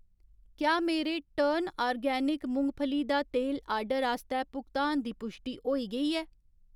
क्या मेरे टर्न आर्गेनिक मुंगफली दा तेल आर्डर आस्तै भुगतान दी पुश्टि होई गेई ऐ ?